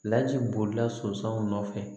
Laji bolila sonsanw nɔ nɔfɛ